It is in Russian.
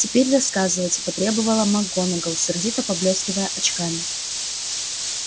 теперь рассказывайте потребовала макгонагалл сердито поблескивая очками